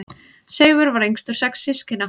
Seifur var yngstur sex systkina.